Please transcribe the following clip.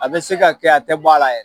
A bɛ se ka kɛ a tɛ bɔ a la yɛrɛ.